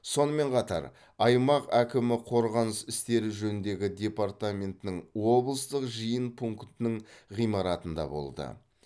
сонымен қатар аймақ әкімі қорғаныс істері жөніндегі департаментінің облыстық жиын пунктінің ғимаратында болды